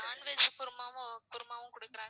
non veg குருமாவும் குருமாவும் குடுக்குறாங்க.